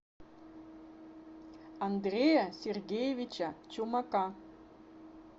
андрея сергеевича чумака